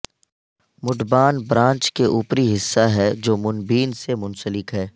مڈبائن branch کے اوپری حصہ ہے جو منبین سے منسلک ہے